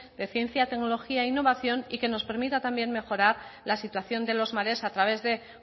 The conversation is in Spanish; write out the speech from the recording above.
de ciencia tecnología e innovación y que nos permita también mejorar la situación de los mares a través de